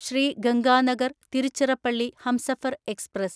Shri Ganganagar Tiruchirappalli Humsafar express